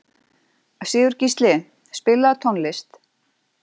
Sigurgísli, spilaðu tónlist.